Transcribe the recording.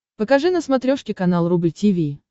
покажи на смотрешке канал рубль ти ви